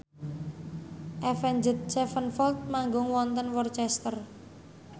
Avenged Sevenfold manggung wonten Worcester